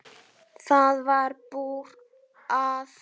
Það varð úr að